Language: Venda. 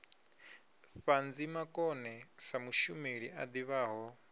ṱhanzimakone sa mushumeli a ḓivhaho